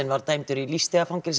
var dæmdur í lífstíðarfangelsi